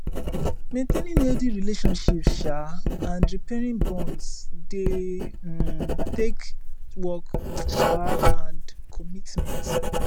maintaining healthy relationships um and repairing bonds dey um take work um and commitment